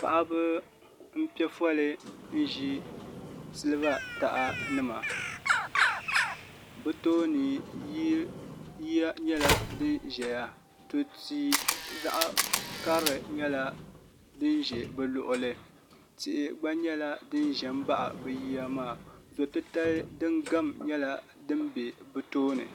Paɣaba n piɛ foli ʒi siliba taha nima bi tooni yiya nyɛla din ʒɛya tu tii zaɣ karili nyɛla din ʒɛ bi luɣuli ni tihi gba nyɛla din ʒɛ n baɣa bi yiya maa do titali din gam nyɛla din bɛ bi tooni